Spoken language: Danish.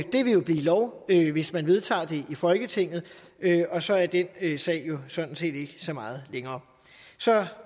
det vil blive lov hvis man vedtager det i folketinget og så er den sag jo sådan set ikke så meget længere så